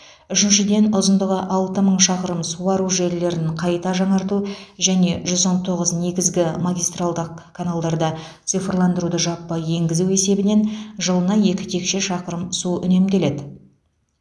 үшіншіден ұзындығы алты мың шақырым суару желілерін қайта жаңарту және жүз он тоғыз негізгі магистралдық каналдарда цифрландыруды жаппай енгізу есебінен жылына екі текше шақырым су үнемделеді